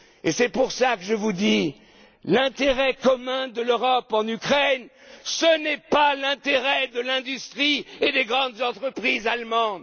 à intervenir. Voilà pourquoi je vous dis que l'intérêt commun de l'Europe en Ukraine, ce n'est pas l'intérêt de l'industrie et des grandes entreprises